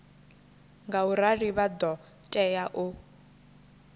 ngaurali vha ḓo tea u